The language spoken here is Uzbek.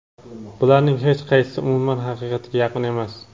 Bularning hech qaysi umuman haqiqatga yaqin emas.